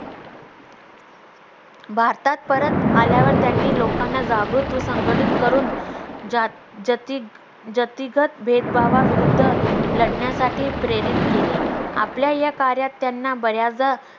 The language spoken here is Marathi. भारतात परत आल्यावर त्यांनी लोकांना जागृत व संघटित करून जा जती जतिगत भेदभाव विरुद्ध लढण्यासाठी प्रेरित केले आपल्या या कार्यात त्यांना बऱ्याचदा